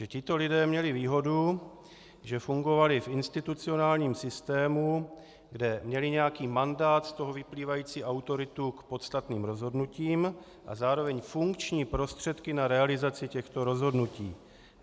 Že tito lidé měli výhodu, že fungovali v institucionálním systému, kde měli nějaký mandát, z toho vyplývající autoritu k podstatným rozhodnutím a zároveň funkční prostředky na realizaci těchto rozhodnutí.